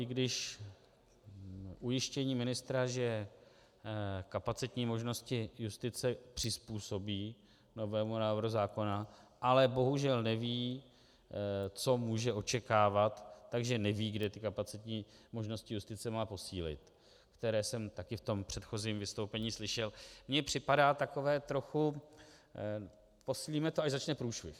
I když ujištění ministra, že kapacitní možnosti justice přizpůsobí novému návrhu zákona, ale bohužel neví, co může očekávat, takže neví, kde ty kapacitní možnosti justice má posílit, které jsem také v tom předchozím vystoupení slyšel, mi připadá takové trochu "posílíme to, až začne průšvih".